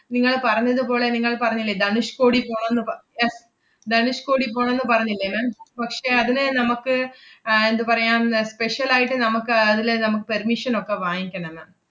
നിങ്ങള് പറഞ്ഞതുപോലെ നിങ്ങൾ പറഞ്ഞില്ലേ ധനുഷ്‌കോടി പോണോന്ന് പ~ yes ധനുഷ്‌കോടി പോണോന്ന് പറഞ്ഞില്ലേ ma'am പക്ഷേ അതിന് നമ്മക്ക് ആഹ് എന്തുപറയാം അഹ് special ആയിട്ട് നമ്മക്ക് അതില് നമ്മക്ക് permission ഒക്കെ വാങ്ങിക്കണം ma'am